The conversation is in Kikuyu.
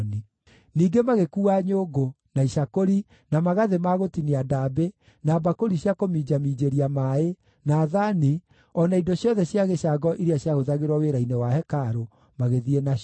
Ningĩ magĩkuua nyũngũ, na icakũri, na magathĩ ma gũtinia ndaambĩ, na mbakũri cia kũminjaminjĩria maaĩ, na thaani, o na indo ciothe cia gĩcango iria ciahũthagĩrwo wĩra-inĩ wa hekarũ, magĩthiĩ nacio.